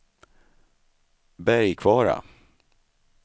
Bergkvara